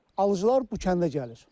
Alıcılar bu kəndə gəlir.